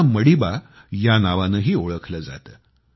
त्यांना मडीबा या नावानेही ओळखले जाते